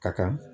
Ka kan